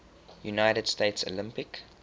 united states olympic